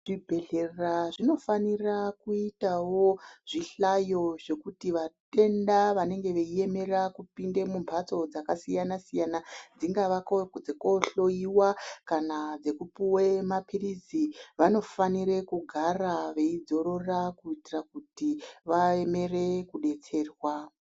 Zvibhedhlera zvinofanira kuitawo zvihlayo zvekuti vatenda vanenge veiemera kupinda mumhatso dzakasiyana siyana dzingavako dzekohloiwa kana dzekupuwe mapirizivanofanire kugara veidzorora kuitira kuti vaemere kudetserwa.